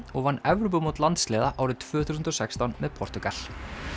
og vann Evrópumót landsliða árið tvö þúsund og sextán með Portúgal